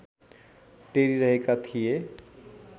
टेरी रहेका थिए